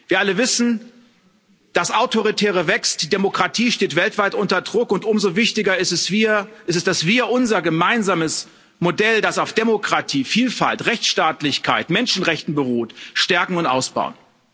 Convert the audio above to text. Wir alle wissen Das Autoritäre wächst, die Demokratie steht weltweit unter Druck, und umso wichtiger ist es, dass wir unser gemeinsames Modell, das auf Demokratie, Vielfalt, Rechtsstaatlichkeit und Menschenrechten beruht, stärken und ausbauen.